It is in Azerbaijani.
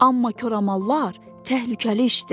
Amma koramallar təhlükəli işdir.